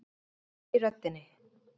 Það var tregi í röddinni.